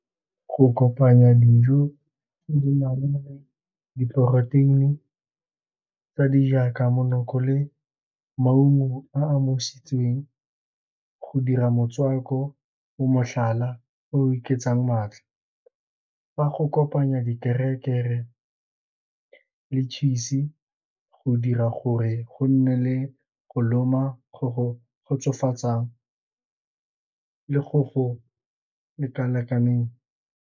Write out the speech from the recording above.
Go kopanya dijo tse di nang le diporoteini tse di jaaka monoko le maungo a omositsweng go dira motswako mo motlhala o oketsang maatla. Fa go kopanya di le cheese go dira gore go nne le go loma go kgotsofatsa le go go leka-lekaneng.